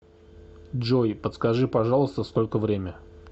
джой подскажи пожалуйста сколько время